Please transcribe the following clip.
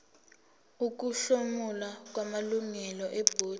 ukuhlomula kwamalungu ebhodi